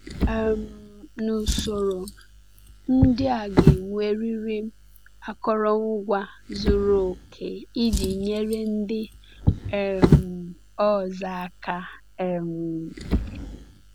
um N’usoro, ndị a ga-enwerịrị akụrụngwa zuru oke iji nyere ndị um ọzọ aka. um